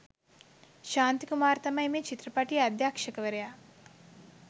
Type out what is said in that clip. ශාන්ති කුමාර් තමයි මේ චිත්‍රපටියේ අධ්‍යක්‍ෂවරයා.